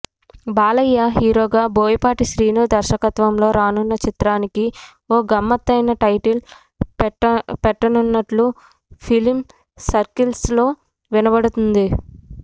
బాలయ్య హీరోగా బోయపాటి శీను దర్శకత్వంలో రానున్న చిత్రానికి ఓ గమ్మత్తైన టైటిల్ పెట్టనునున్నట్లు ఫిల్మ్ సర్కిల్స్ లో వినపడతోంది